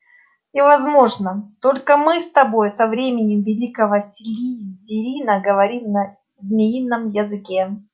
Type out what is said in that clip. и возможно только мы с тобой со времён великого слизерина говорим на змеином языке